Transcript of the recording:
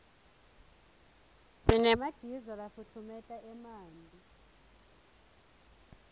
sinemagiza lafutfumeta emanti